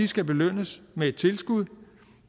skal belønnes med et tilskud